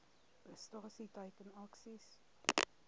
prestasie teiken aksies